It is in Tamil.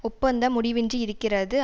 ஒப்பந்தம் முடிவின்றி இருக்கிறது